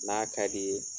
N'a ka di ye